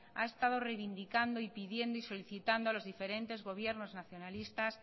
ha estado reivindicando y pidiendo y solicitando a los diferentes gobiernos nacionalistas